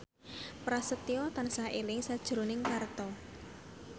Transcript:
Prasetyo tansah eling sakjroning Parto